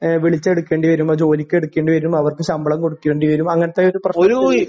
ഏഹ് വിളിച്ച് എടുക്കേണ്ടിവരും ജോലിക്ക്ടുക്കേണ്ടിവരും ആരും ശമ്പളം കൊടുക്കേണ്ടിവരും അങ്ങനത്തെ ഒരു